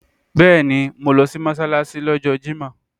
Bẹ́ẹ̀ni, mo lọ sí Mọ́sálásí lọ́jọ́ Jímọ̀